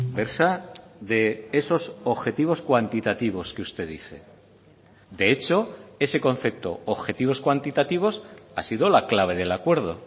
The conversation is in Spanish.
versa de esos objetivos cuantitativos que usted dice de hecho ese concepto objetivos cuantitativos ha sido la clave del acuerdo